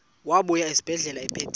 wabuya esibedlela ephethe